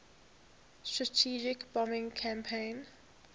strategic bombing campaign